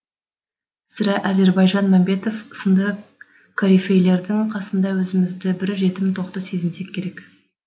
сірә әзірбайжан мәмбетов сынды корифейлердің қасында өзімізді бір жетім тоқты сезінсек керек